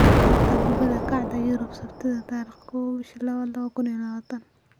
Xanta Kubadda Cagta Yurub Sabtida 01.02.2020: Emery, Ighalo, Ings, Bale, Pukki, Richarlison, Salah